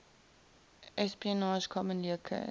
espionage commonly occurs